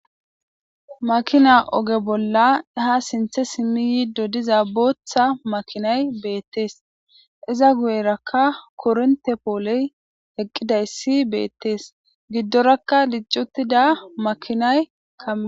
Makina oge bolla ha sinthe simmi yiiddo diza booththa makinay beettees iza guyerakka koronte pooley heqqidayssi beettees giddorakka liccutida makinay kam